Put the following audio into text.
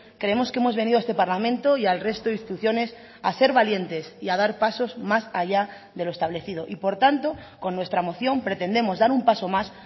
creemos que hemos venido a este parlamento y al resto de instituciones a ser valientes y a dar pasos más allá de lo establecido y por tanto con nuestra moción pretendemos dar un paso más